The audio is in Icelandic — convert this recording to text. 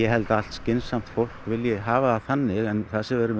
held að allt skynsamt fólk vilji hafa það þannig en það sem við erum